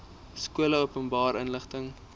skole openbare inligting